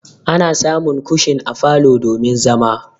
Ana samun kushin a falo domin zama.